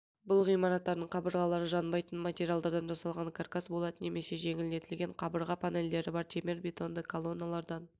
бұл ғимараттардың қабырғалары жанбайтын материалдардан жасалған каркас болат немесе жеңілдетілген қабырға панельдері бар темірбетонды колонналардан